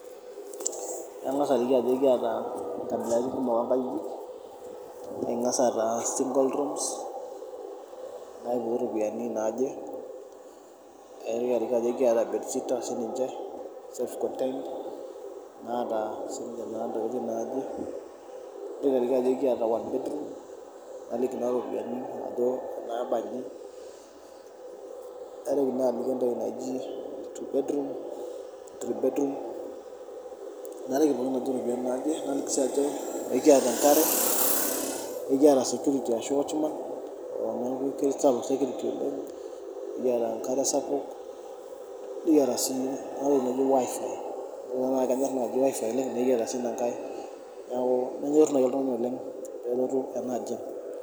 Kangas aliki ajoki ekiata nkabilaritin kumok oonkajik. Ekingas aata single rooms neekipuo iropiyiani naaje, nikiata bedsitter siininche self contained naa naa siinche intokitin naaje. Naliki naa iropiyiani ajo inaabanji. Naitoki naaliki entoki naji two bedroom, three bed room nalik pookin ajo iropiyiani naaje. Naliki sii ajo ekiata enkare , ekiata Security ashu watchman niaku keisapuk sekiriti oleng. Nikiata enkare sapuk. Nikiata sii enatoki naji wifi teneidimayu naaji nenyorr nikiata sii inkai. Niaku nenyoru naaji oltungani peelotu enaajiang